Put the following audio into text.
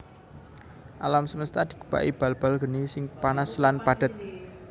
Alam semesta dikebaki bal bal geni sing panas lan padhet